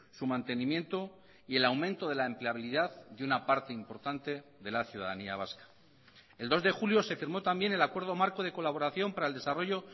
su mantenimiento y el aumento de la empleabilidad de una parte importante de la ciudadanía vasca el dos de julio se firmó también el acuerdo marco de colaboración para el desarrollo